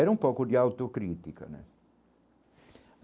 Era um pouco de autocrítica, né?